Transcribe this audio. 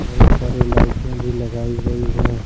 बहुत सारे लाइटें भी लगाई गई है।